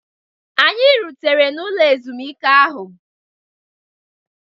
Anyị rutere n'ụlọ ezumike ahụ.